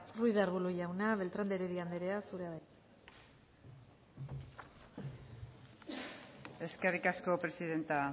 ruiz de arbulo jauna beltrán de heredia anderea zurea da hitza eskerrik asko presidente